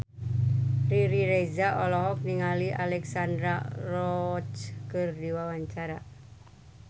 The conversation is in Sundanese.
Riri Reza olohok ningali Alexandra Roach keur diwawancara